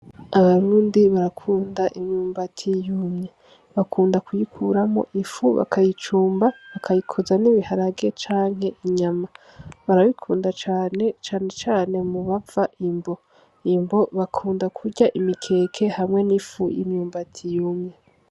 Abarundi barakunda imyumbati yumye, bakunda kuyikuramwo ifu bakayicumba bakayikoza n'ibiharage canke inyama, barabikunda cane, cane cane mu bava imbo, imbo bakunda kurya imikeke hamwe n'ifu y'imyumbati yumye.